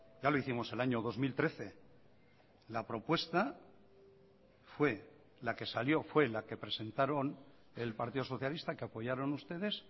ya lo hicimos el año dos mil trece la propuesta fue la que salió fue la que presentaron el partido socialista que apoyaron ustedes